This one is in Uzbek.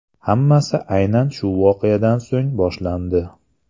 Hammasi aynan shu voqeadan so‘ng boshlandi.